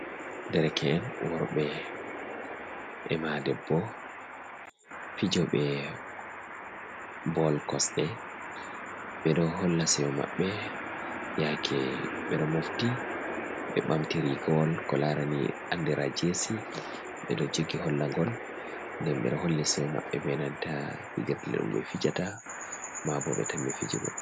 Dereke’en worbe e ma debbo, fijo ɓe bol kosɗe, ɓedo holla seyo maɓɓbe, yake ɓe do mofti be ɓamti rigawol ko larani andira jesi ɓeɗo jogi holla ngol den ɓe do holli seyo mabɓe be nanta fijirde ɗum be fijata ma bo be tammi fijugo. Z